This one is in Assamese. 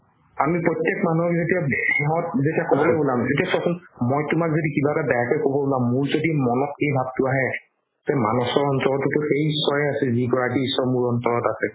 আমি প্ৰতেক মানুহক যেতিয়া যেতিয়া চোৱাচোন মই তুমাক যদি কিবা এটা বেয়া কে ক'ব উলাম মোৰ যদি মনত এই ভাবটো আহে তে মানাশৰ অন্তৰতও সেই ঈশ্বৰে আছে যিগৰাকি মোৰ অন্তৰত আছে